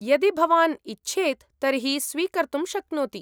यदि भवान् इच्छेत् तर्हि स्वीकर्तुं शक्नोति।